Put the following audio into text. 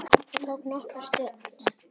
Það tók nokkra stund.